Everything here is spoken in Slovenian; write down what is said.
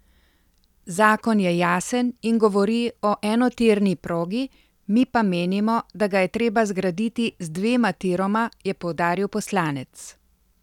Zakon je jasen in govori o enotirni progi, mi pa menimo, da ga je treba zgraditi z dvema tiroma, je poudaril poslanec.